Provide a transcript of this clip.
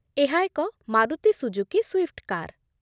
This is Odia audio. ଏହା ଏକ ମାରୁତି ସୁଜୁକି ସ୍ୱିଫ୍ଟ କାର୍।